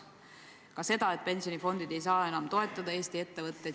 Samuti on öeldud seda, et pensionifondid ei saa enam Eesti ettevõtteid toetada.